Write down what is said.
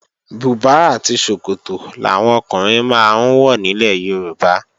Bùbá àti ṣòkòtò làwọn ọkùnrin máa ń wọ nílẹ̀ Yorùbá